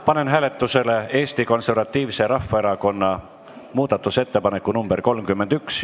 Panen hääletusele Eesti Konservatiivse Rahvaerakonna muudatusettepaneku nr 31.